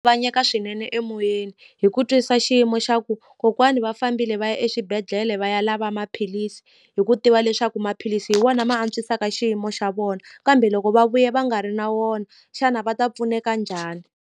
swinene emoyeni hi ku twisisa xiyimo xa ku kokwani va fambile va ya exibedhlele va ya lava maphilisi hi ku tiva leswaku maphilisi hi wona ma antswisaka xiyimo xa vona kambe loko va vuya va nga ri na wona xana va ta pfuneka njhani.